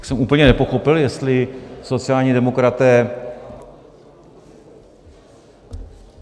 Tak jsem úplně nepochopil, jestli sociální demokraté...